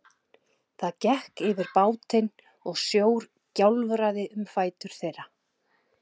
Það gekk yfir bátinn og sjór gjálfraði um fætur þeirra.